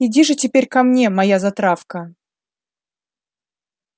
иди же теперь ко мне моя затравка